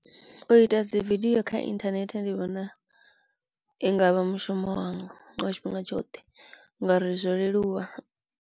U ita dzi vidiyo kha internet ndi vhona i ngavha mushumo wanga wa tshifhinga tshoṱhe ngauri zwo leluwa.